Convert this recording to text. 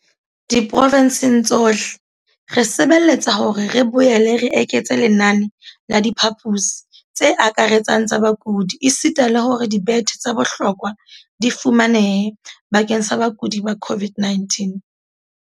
Diprovenseng tsohle, re sebeletsa hore re boele re eketse lenane la diphaposi tse akaretsang tsa bakudi esita le hore dibethe tsa bohlokwa di fumanehe bakeng sa bakudi ba COVID-19.